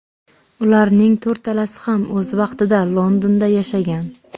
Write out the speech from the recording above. Ularning to‘rtalasi ham o‘z vaqtida Londonda yashagan.